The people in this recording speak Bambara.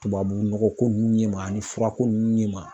Tubabunɔgɔko ɲɛma ani furako nun ɲɛma.